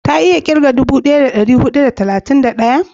ta iya kirga daga dubu daya da dari hudu da talatin da daya?